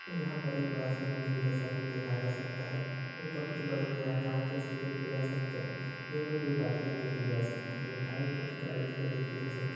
यहाँ पर एक बड़ा सा बिल्डिंग जैसा कुछ देखा जा सकता है ऊपर कुछ बड़े बड़े आकाश जैसे देखे जा सकते हैं जिनमे कोई बादले देखी जा सकती है आगे कुछ गाड़ी खड़ी देखी जा सकती--